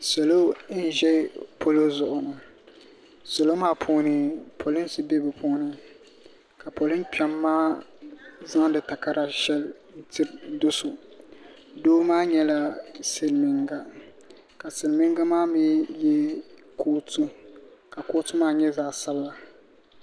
Salo n ʒɛ polo zuɣu polinsi bɛ bi puuni ka polin kpɛm maa zaŋdi takara shɛli tiri doso doo maa nyɛla silmiinga ka silmiinga maa mii yɛ kootu ka kootu maa nyɛ zaɣ sabinli